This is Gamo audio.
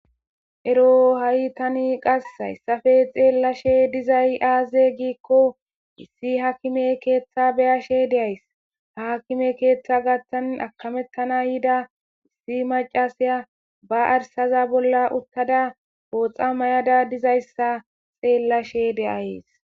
Eroha'i tani qasse hayssappe xeellashe dizay aaze giza giikko issi haakime keeththa be'ashe de'ayssi. Ha aakime keeththa gaaththan akkametana yida issi maccasiya ba arssaza bolla uttada pooxa mayada dizayssa xeellashe de'ayssi.